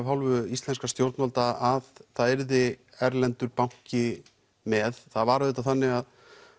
hálfu íslenskra stjórnvalda að það yrði erlendur banki með það var auðvitað þannig